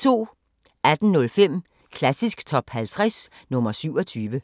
18:05: Klassisk Top 50 – nr. 27